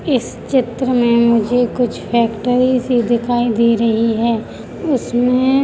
इस चित्र में मुझे कुछ फेक्ट्री सी दिखाई दे रही है उसमे--